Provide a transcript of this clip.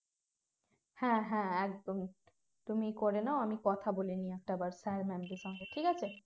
হ্যাঁ হ্যাঁ একদমই তুমি করে নাও আমি কথা বলে নিই sir mam দের সঙ্গে ঠিক আছে